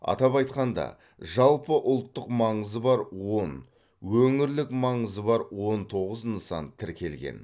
атап айтқанда жалпыұлттық маңызы бар он өңірлік маңызы бар он тоғыз нысан тіркелген